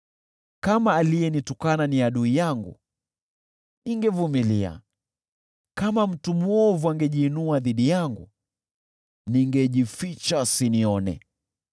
Kama aliyenitukana ni adui yangu, ningevumilia, kama mtu mwovu angejiinua dhidi yangu, ningejificha asinione.